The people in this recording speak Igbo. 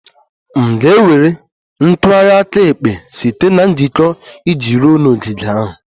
M ga-ewere ntụgharị aka ekpe site na njikọ iji ruo n'ogige ahụ?